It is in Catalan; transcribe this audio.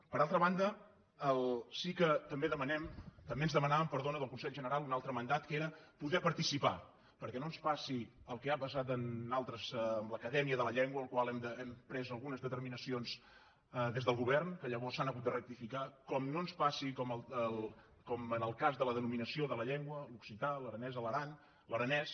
per altra banda sí que també ens demanaven del consell general un altre mandat que era poder participar perquè no ens passi el que ha passat amb l’acadèmia de la llengua en la qual hem pres algunes determinacions des del govern que llavors s’han hagut de rectificar que no ens passi com en el cas de la denominació de la llengua l’occità l’aranès a l’aran l’aranès